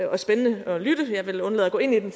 er spændende at lytte til men jeg vil undlade at gå ind i det